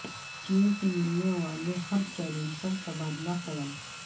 چین سے ملنے والے ہر چیلنج پر تبادلہ خیال